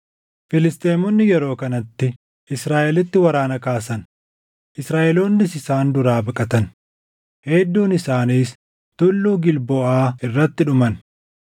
Filisxeemonni yeroo kanatti Israaʼelitti waraana kaasan; Israaʼeloonnis isaan duraa baqatan; hedduun isaaniis Tulluu Gilboʼaa irratti dhuman.